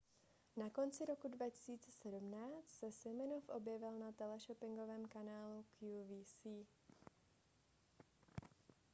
na konci roku 2017 se siminoff objevil na teleshoppingovém kanálu qvc